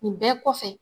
Nin bɛɛ kɔfɛ